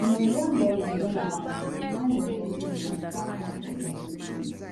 di nigeria goment don announce say di price of getting a nigeria passport don increase